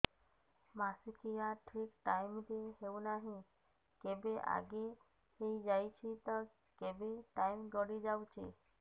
ମାସିକିଆ ଠିକ ଟାଇମ ରେ ହେଉନାହଁ କେବେ ଆଗେ ହେଇଯାଉଛି ତ କେବେ ଟାଇମ ଗଡି ଯାଉଛି